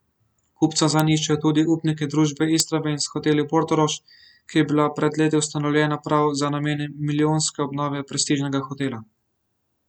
Kupca zanj iščejo tudi upniki družbe Istrabenz Hoteli Portorož, ki je bila pred leti ustanovljena prav za namene milijonske obnove prestižnega hotela.